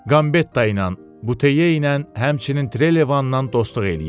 Qambetta ilə, Buteyye ilə, həmçinin Trelevandan dostluq eləyirdi.